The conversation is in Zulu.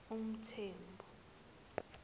mthembu